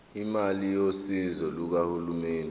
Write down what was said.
imali yosizo lukahulumeni